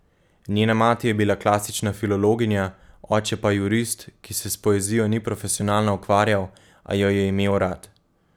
Njena mati je bila klasična filologinja, oče pa jurist, ki se s poezijo ni profesionalno ukvarjal, a jo je imel rad.